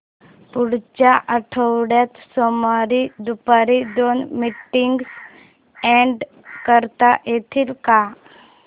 पुढच्या आठवड्यात सोमवारी दुपारी दोन मीटिंग्स अॅड करता येतील का